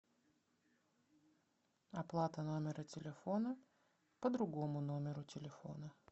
оплата номера телефона по другому номеру телефона